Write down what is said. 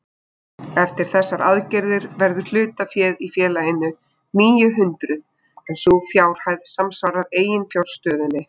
Eftir þessar aðgerðir verður hlutaféð í félaginu níu hundruð en sú fjárhæð samsvarar eiginfjárstöðunni.